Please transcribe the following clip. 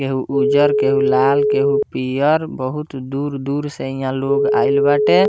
केहू उज्जर केहू लाल केहू पियर बहुत दूर-दूर से हियां लोग आएल बाटे।